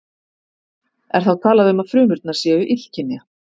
Er þá talað um að frumurnar séu illkynja.